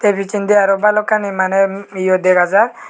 picchendi aro balokkani maney yo dega jaar.